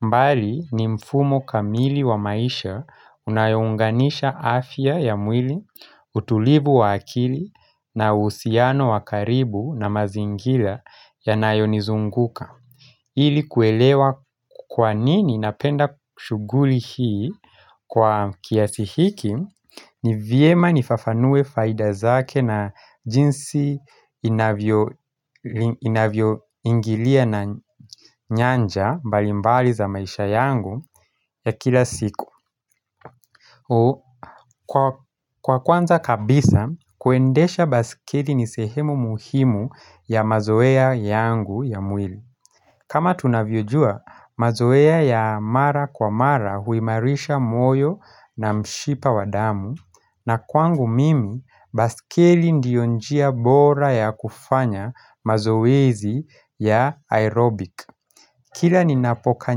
Mbali ni mfumo kamili wa maisha unayounganisha afya ya mwili, utulivu wa akili na uhusiano wa karibu na mazingila ya nayonizunguka. Ili kuelewa kwanini napenda shughuli hii kwa kiasihiki ni vyema nifafanue faida zake na jinsi inavyo inavyo ingilia na nyanja mbalimbali za maisha yangu ya kila siku Kwa kwanza kabisa kuendesha baskeli ni sehemu muhimu ya mazoea yangu ya mwili kama tunavyojua mazoea ya mara kwa mara huimarisha moyo na mshipa wadamu na kwangu mimi baskeli ndio njia bora ya kufanya mazoezi ya aerobic Kila ninapoka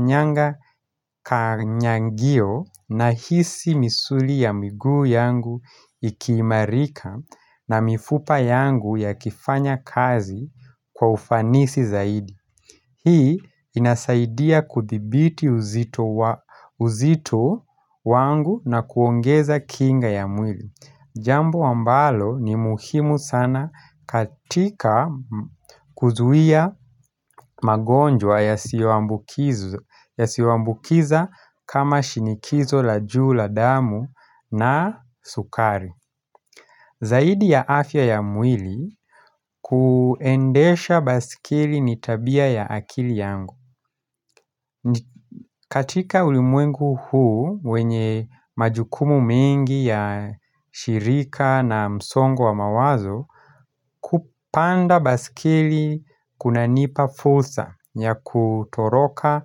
nyanga kanyangio na hisi misuli ya miguu yangu ikii marika na mifupa yangu ya kifanya kazi kwa ufanisi zaidi Hii inasaidia kuthibiti uzito wangu na kuongeza kinga ya mwili Jambo ambalo ni muhimu sana katika kuzuia magonjwa yasioambukiz yasioambukiza kama shinikizo la juu la damu na sukari Zaidi ya afya ya mwili kuendesha basikili nitabia ya akili yangu katika ulimwengu huu wenye majukumu mengi ya shirika na msongo wa mawazo Kupanda baskeli kuna nipa fulsa ya kutoroka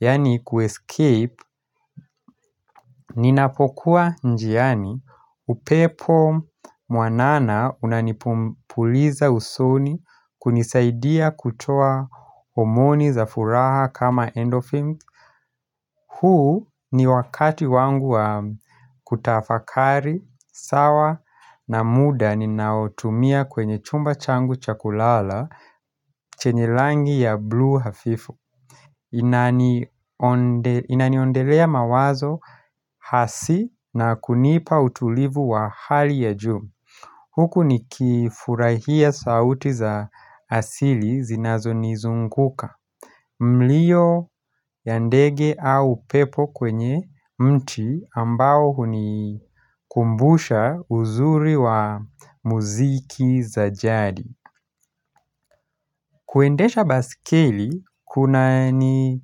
yani kuescape Ninapokuwa njiani upepo mwanana unanipumpuliza usoni kunisaidia kutoa homoni za furaha kama endorphin huu ni wakati wangu wa kutafakari, sawa na muda ninaotumia kwenye chumba changu chakulala chenye langi ya blue hafifu inani Inaniondelea mawazo hasi na kunipa utulivu wa hali ya juu Huku ni kifurahia sauti za asili zinazo nizunguka Mlio yandege au pepo kwenye mti ambao huni kumbusha uzuri wa muziki za jadi kuendesha baskeli kuna ni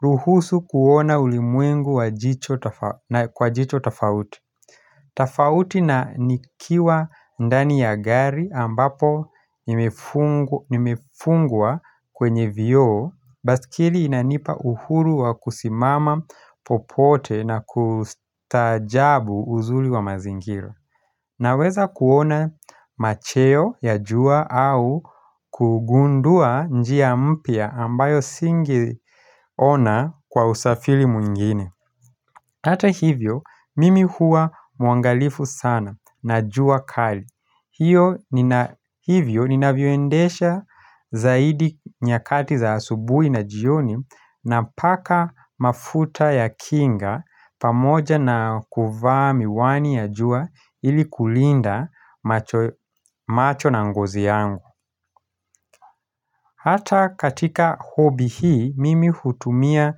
ruhusu kuona ulimwengu wa jicho tofa na kwa jicho tofauti tafauti na nikiwa ndani ya gari ambapo nimefung nimefungwa kwenye vioo baskeli inanipa uhuru wa kusimama popote na kustaajabu uzuli wa mazingira Naweza kuona macheo ya jua au kugundua njia mpya ambayo singeona kwa usafili mwingine Ata hivyo, mimi hua muangalifu sana na jua kali hio nina Hivyo ninavyoendesha zaidi nyakati za asubui na jioni na paka mafuta ya kinga pamoja na kuvaami wani ya jua ili kulinda macho ya macho na ngozi yangu. Hata katika hobi hii mimi hutumia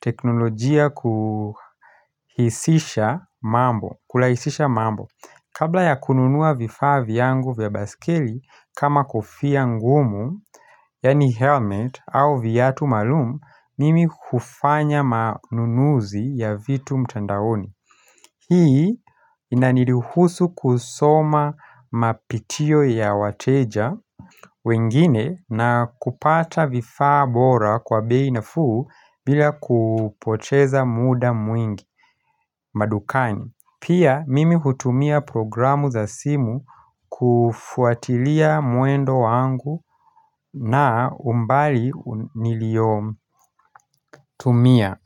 teknolojia kuhisisha mambo Kulahisisha mambo Kabla ya kununua vifaa vyangu vya baskeli kama kofia ngumu Yani helmet au viatu maalumu Mimi hufanya manunuzi ya vitu mtandaoni Hii inaniruhusu kusoma mapitio ya wateja wengine na kupata vifaa bora kwa beinafuu bila kupoteza muda mwingi madukani. Pia mimi hutumia programu za simu kufuatilia mwendo wangu na umbali nilio tumia.